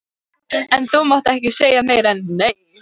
En þú mátt ekki segja meira en já.